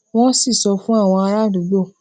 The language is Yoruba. wọn sì sọ fún àwọn ará àdúgbò